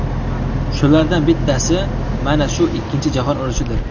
Shulardan bittasi mana shu Ikkinchi jahon urushidir.